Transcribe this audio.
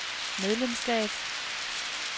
medlemskab